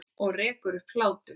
Og rekur upp hlátur.